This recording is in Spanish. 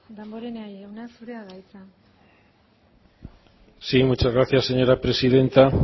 damborenea jauna zurea da hitza sí muchas gracias señora presidenta